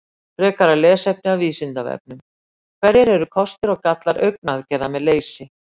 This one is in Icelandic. Frekara lesefni af Vísindavefnum: Hverjir eru kostir og gallar augnaðgerða með leysi?